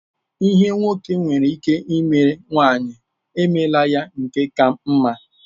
Ihe nwoke nwere ike ime, nwanyị emeela ya nke ka mma.